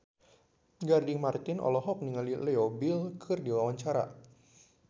Gading Marten olohok ningali Leo Bill keur diwawancara